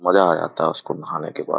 मजा आ जाता हैं उसको नहाने के बाद ।